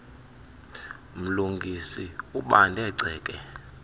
mlungisi ubanda ceke